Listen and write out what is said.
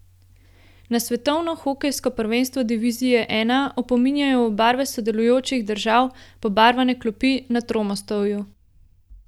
Na svetovno hokejsko prvenstvo divizije I opominjajo v barve sodelujočih držav pobarvane klopi na Tromostovju.